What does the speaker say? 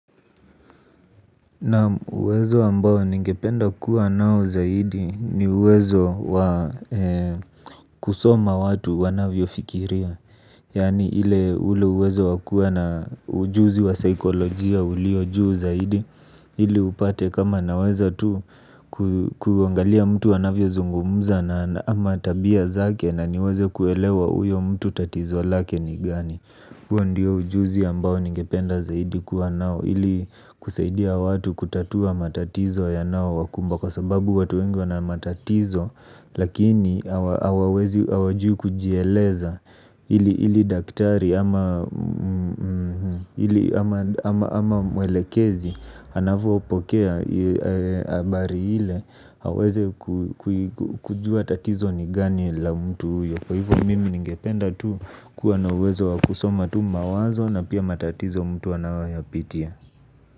Naam uwezo ambao ningependa kuwa nao zaidi ni uwezo wa kusoma watu wanavyofikiria yani ile ule uwezo wa kuwa na ujuzi wa saikolojia ulio juu zaidi ili upate kama naweza tu ku kuangalia mtu anavyozungumza na ama tabia zake na niweze kuelewa uyo mtu tatizo lake ni gani huo ndiyo ujuzi ambao ningependa zaidi kuwa nao. Ili kusaidia watu kutatua matatizo yanaowakumba. Kwa sababu watu wengi wana matatizo. Lakini hawawezi hawajui kujieleza. Ili daktari ama ama mwelekezi anavyopokea bari ile aweze kujua tatizo ni gani la mtu uyo. Kwa hivyo mimi ningependa tu kuwa na uwezo wa kusoma tu mawazo na pia matatizo mtu anayo yapitia.